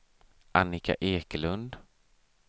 Annika Ekelund